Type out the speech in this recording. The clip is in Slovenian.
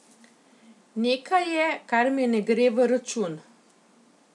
Nekaj je, kar mi ne gre v račun.